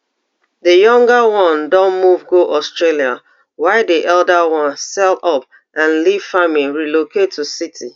di younger one don move go australia while di elder one sell up and leave farming relocate to city